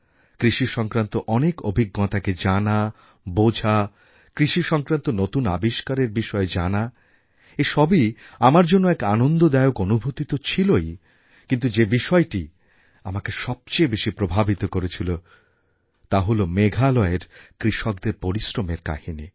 কৃষি সংক্রান্ত অনেক অভিজ্ঞতাকে জানা বোঝা কৃষি সংক্রান্ত নতুন আবিষ্কারের বিষয়ে জানা এ সবই আমার জন্য এক আনন্দদায়ক অনুভূতি তো ছিলই কিন্তু যে বিষয়টি আমাকে সবচেয়ে বেশি প্রভাবিত করেছিল তা হল মেঘালয়ের কৃষকদের পরিশ্রমের কাহিনি